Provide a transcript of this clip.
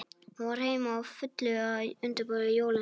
Hún var heima, á fullu að undirbúa jólin.